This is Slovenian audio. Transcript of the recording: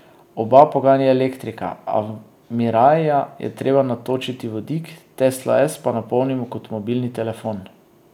Oba poganja elektrika, a v miraija je treba natočiti vodik, teslo S pa napolnimo kot mobilni telefon.